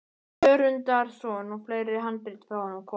Jörundarson og fleiri handrit frá honum komin.